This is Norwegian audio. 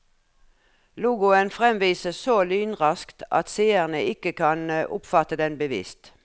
Logoen fremvises så lynraskt at seerne ikke kan oppfatte den bevisst.